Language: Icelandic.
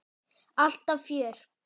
Alltaf fjör.